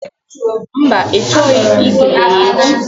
Mba, ị chọghị ikele ya echi.